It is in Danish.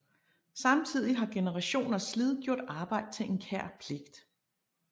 Samtidig har generationers slid gjort arbejde til en kær pligt